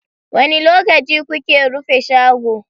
Wani lokaci kuke rufe shago?